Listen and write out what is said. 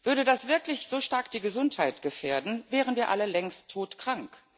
Würde das wirklich so stark die Gesundheit gefährden, wären wir alle längst todkrank.